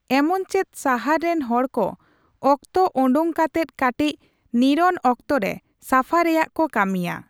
ᱮᱢᱚᱱᱪᱮᱫ ᱥᱟᱦᱟᱨ ᱨᱮᱱ ᱦᱚᱲᱠᱚ ᱚᱠᱛᱚ ᱚᱰᱳᱠ ᱠᱟᱛᱮ ᱠᱟᱴᱤᱪ ᱱᱤᱨᱚᱱ ᱚᱠᱛᱚ ᱨᱮ ᱥᱟᱯᱷᱟ ᱨᱮᱭᱟᱜ ᱠᱚ ᱠᱟᱹᱢᱤᱭᱟ ᱾